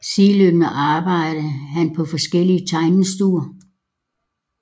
Sideløbende arbejdede han på forskellige tegnestuer